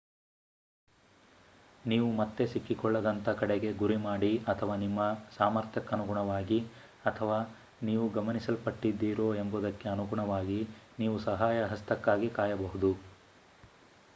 ನೀವು ಮತ್ತೆ ಸಿಕ್ಕಿಕೊಳ್ಳದಂತ ಕಡೆಗೆ ಗುರಿ ಮಾಡಿ ಅಥವಾ ನಿಮ್ಮ ಸಾಮರ್ಥ್ಯಕ್ಕನುಗುಣವಾಗಿ ಅಥವಾ ನೀವು ಗಮನಿಸಲ್ಪಟ್ಟಿದ್ದೀರೋ ಎಂಬುದಕ್ಕೆ ಅನುಗುಣವಾಗಿ ನೀವು ಸಹಾಯ ಹಸ್ತಕ್ಕಾಗಿ ಕಾಯಬಹುದು